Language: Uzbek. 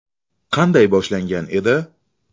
Qanday boshlangan edi?